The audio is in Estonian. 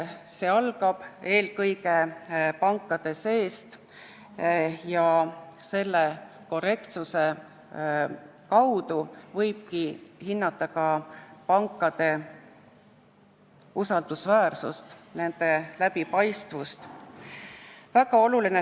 See algab eelkõige pankade seest ja selle korrektsuse kaudu võib hinnata ka pankade usaldusväärsust ja nende läbipaistvust.